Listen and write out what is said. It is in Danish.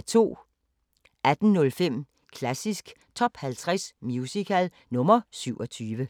18:05: Klassisk Top 50 Musical – nr. 27